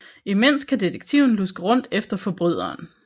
Imens kan detektiven luske rundt efter forbryderen